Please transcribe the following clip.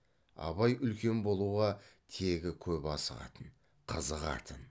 абай үлкен болуға тегі көп асығатын қызығатын